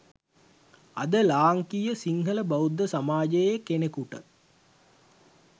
අද ලාංකීය සිංහල බෞද්ධ සමාජයේ කෙනෙකුට